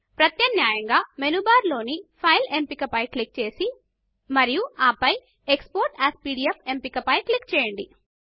ప్రత్యామ్నాయంగా menu bar లోని file ఎంపికపై క్లిక్ చేసి మరియు ఆపై ఎక్స్పోర్ట్ ఏఎస్ పీడీఎఫ్ ఎంపికపై క్లిక్ చేయండి